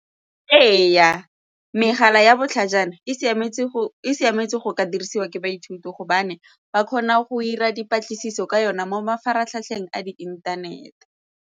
Ee, megala ya botlhajana e siametse go ka dirisiwa ke baithuti gobane ba kgona go 'ira dipatlisiso ka yona mo mafaratlhatlheng a di inthanete.